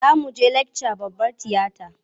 Za mu je lakca babbar tiyata.